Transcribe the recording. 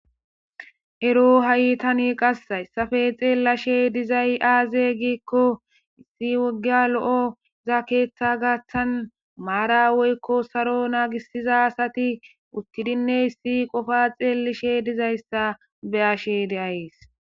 Ero ha'itani qassa essafe xeellashe dizay aaze giikko issi woggia lo'o za keeththa gaththan maara weykko saro naagisiza sati uttidinne issi qofa xeelishe dizayssa be ashe deayees.